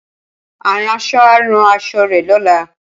Aránṣọ á rán aṣọ rẹ̀ lọ́la